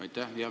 Aitäh!